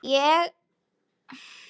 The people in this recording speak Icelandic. Ætla ekki að öskra.